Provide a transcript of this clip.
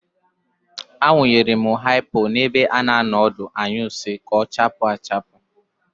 Awụnyere m haipo n'ebe a na-anọ ọdụ anyụ nsị ka ọ chaapụ achapụ.